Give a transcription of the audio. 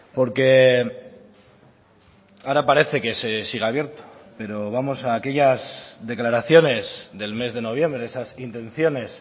porque ahora parece que sigue abierto pero vamos a aquellas declaraciones del mes de noviembre esas intenciones